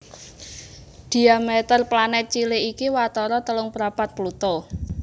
Dhiameter planèt cilik iki watara telung prapat Pluto